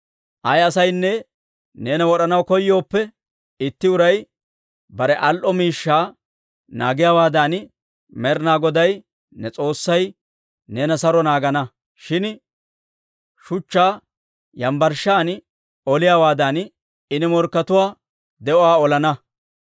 «Ayaa asaynne neena wod'anaw koyooppe, itti uray bare al"o miishshaa naagiyaawaadan, Med'inaa Goday ne S'oossay neena saro naagana. Shin shuchchaa yambbarshshan oliyaawaadan, I ne morkkatuwaa de'uwaa olana.